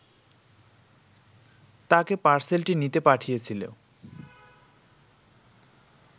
তাকে পার্সেলটি নিতে পাঠিয়েছিল